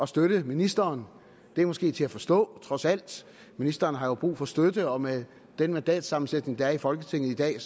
støtte ministeren det er måske til at forstå trods alt ministeren har jo brug for støtte og med den mandatsammensætning der er i folketinget i dag